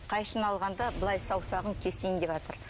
қайшыны алғанда былай саусағын кесейін деватыр